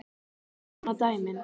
Það sanna dæmin.